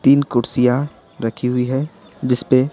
तीन कुर्सियां रखी हुई हैजिस पे--